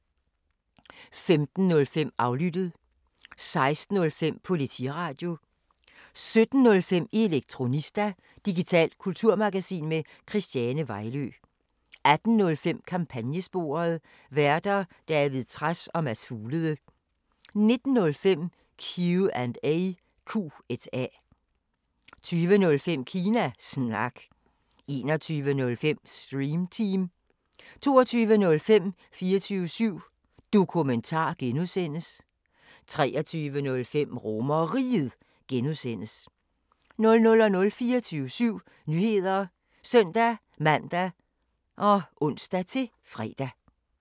15:05: Aflyttet 16:05: Politiradio 17:05: Elektronista – digitalt kulturmagasin med Christiane Vejlø 18:05: Kampagnesporet: Værter: David Trads og Mads Fuglede 19:05: Q&A 20:05: Kina Snak 21:05: Stream Team 22:05: 24syv Dokumentar (G) 23:05: RomerRiget (G) 00:00: 24syv Nyheder (søn-man og ons-fre)